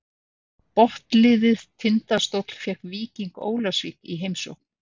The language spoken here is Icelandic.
Botnliðið Tindastóll fékk Víking Ólafsvík í heimsókn.